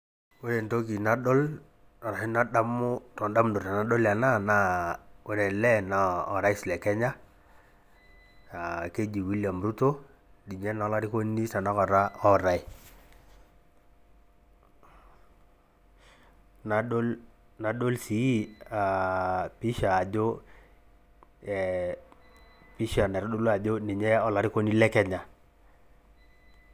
Ore entoki nadol orashu nadamu toondamunot tenadol ena naa ore ele naa orais le kenya Keji William ruto, ninye naa olarikoni tenakata ootae, nadol sii pisha ajo naitodolu ajo ninye olarikoni lekenya.